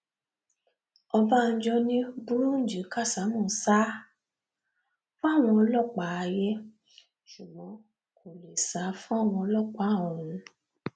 ọbánjọ ni bùrúnjí kásámù sá fáwọn ọlọpàá ayé ṣùgbọn kó lè sá fáwọn ọlọpàá ọrun